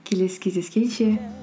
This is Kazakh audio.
келесі кездескенше